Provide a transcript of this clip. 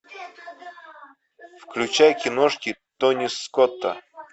включай киношки тони скотта